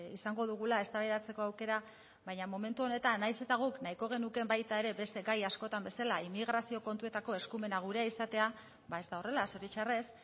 izango dugula eztabaidatzeko aukera baina momentu honetan nahiz eta guk nahiko genuke baita ere beste gai askotan bezala inmigrazio kontuetako eskumena gurea izatea ba ez da horrela zoritxarrez